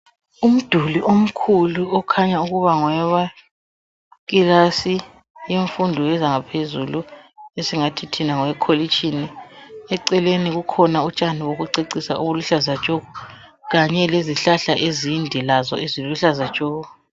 Umduli omkhulu okhanya ukuba ngowe kilasi yemfundo yezangaphezulu esingathi thina ngowekolitshini . Eceleni kukhona utshani bokucecisa obuluhlaza tshoko. Kanye lezihlahla ezinde lazo eziluhlaza tshoko .